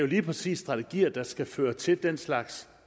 lige præcis strategier der skal føre til den slags